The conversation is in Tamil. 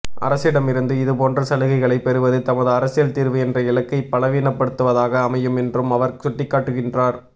அரசிடமிருந்து இதுபோன்ற சலுகைகளைப் பெறுவது தமது அரசியல் தீர்வு என்ற இலக்கை பலவீனப்படுத்துவதாக அமையும் என்றும் அவர் சுட்டிக்காட்டுகின்றார்